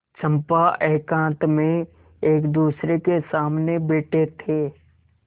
चंपा एकांत में एकदूसरे के सामने बैठे थे